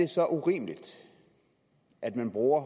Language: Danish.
så urimeligt at man bruger